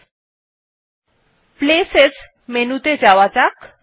এবার places menu ত়ে যাওয়া যাক